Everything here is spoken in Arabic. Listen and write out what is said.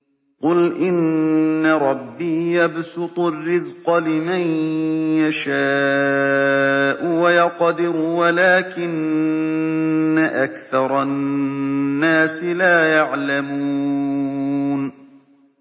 قُلْ إِنَّ رَبِّي يَبْسُطُ الرِّزْقَ لِمَن يَشَاءُ وَيَقْدِرُ وَلَٰكِنَّ أَكْثَرَ النَّاسِ لَا يَعْلَمُونَ